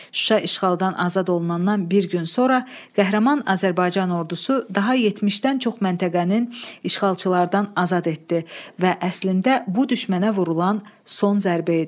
Şuşa işğaldan azad olunandan bir gün sonra qəhrəman Azərbaycan ordusu daha 70-dən çox məntəqənin işğalçılardan azad etdi və əslində bu düşmənə vurulan son zərbə idi.